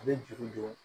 A bɛ juru don